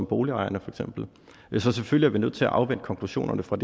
boligejerne så selvfølgelig er vi nødt til at afvente konklusionerne fra